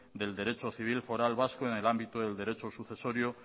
del derecho civil foral vasco en el ámbito del derecho sucesorio